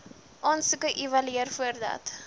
aansoeke evalueer voordat